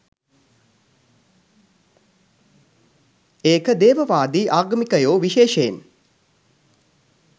ඒක දේවවාදී ආගමිකයෝ විශේෂයෙන්